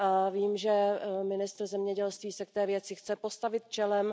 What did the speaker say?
Vím, že ministr zemědělství se k té věci chce postavit čelem.